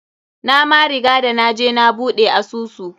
Na ma riga da naje na buɗe asusu.